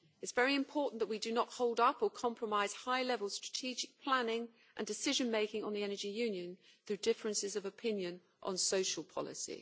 It is very important that we do not hold up or compromise high-level strategic planning and decision-making on the Energy Union through differences of opinion on social policy.